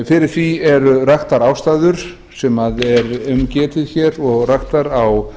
fyrir því eru raktar ástæður sem er um getið hér og raktar á